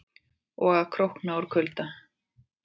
Og að krókna úr kulda.